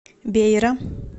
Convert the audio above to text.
бейра